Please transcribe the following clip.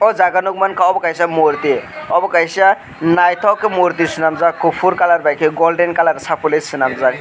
o jaga nogmangka obo kaisa morti obo kaisa naitok ke morti selamjak kopor colour bai ke golden colour sapoloi selamjak.